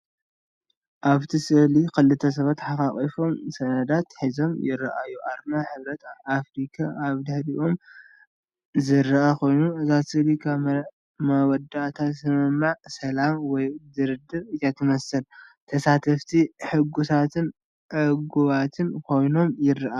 ኣብቲ ስእሊ ክልተ ሰብኡት ተሓቛቚፎም ሰነዳት ሒዞም ይረኣዩ። ኣርማ ሕብረት ኣፍሪቃ ኣብ ድሕሪኦም ዝረአ ኮይኑ፡ እዛ ስእሊ ኣብ መወዳእታ ስምምዕ ሰላም ወይ ድርድር እያ ትመስል። ተሳተፍቲ ሕጉሳትን ዕጉባትን ኮይኖም ይረኣዩ።